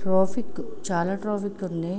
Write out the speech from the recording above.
Trophic చాలా traffic ఉంది.